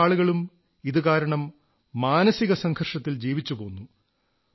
പല ആളുകളും ഇതുകാരണം മാനസിക സംഘർഷത്തിൽ ജീവിച്ചുപോന്നു